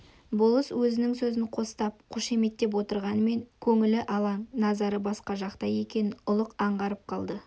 болыс өзінің сөзін қостап қошаметтеп отырғанмен көңілі алаң назары басқа жақта екенін ұлық аңғарып қалды